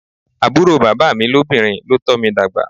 Àbúrò bàbá mi lóbìnrin ló tọ́ mi dàgbà.